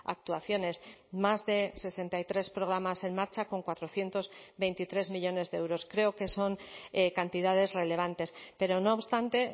actuaciones más de sesenta y tres programas en marcha con cuatrocientos veintitrés millónes de euros creo que son cantidades relevantes pero no obstante